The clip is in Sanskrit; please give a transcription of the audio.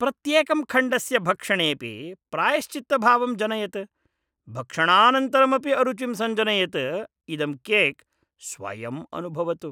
प्रत्येकं खण्डस्य भक्षणेऽपि प्रायश्चित्तभावं जनयत्, भक्षणानन्तरमपि अरुचिं सञ्जनयद् इदं केक् स्वयं अनुभवतु।